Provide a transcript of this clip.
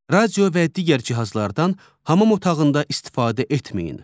Radio və digər cihazlardan hamam otağında istifadə etməyin.